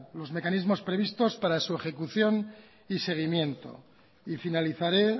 los mecanismos previstos para su ejecución y seguimiento y finalizaré